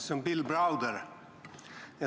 See on Bill Browder.